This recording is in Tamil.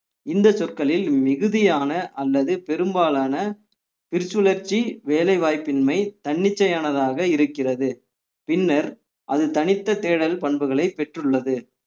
இந்த சொற்களில் மிகுதியான அல்லது பெரும்பாலான பிரிச்சுழர்ச்சி வேலைவாய்ப்பின்மை தன்னிச்சையானதாக இருக்கிறது பின்னர் அது தனித்த தேடல் பண்புகளை பெற்றுள்ளது